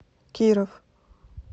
киров